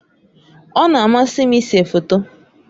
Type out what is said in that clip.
Ọ na-amasị m ịse foto.